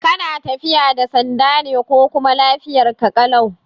Kana tafiya da sanda ne ko kuma lafiyarka ƙalau?